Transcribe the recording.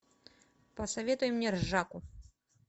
посоветуй мне ржаку